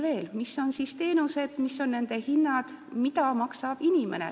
Veel mõned arvud selle kohta, mis on teenuste hinnad ja kui palju peab maksma inimene.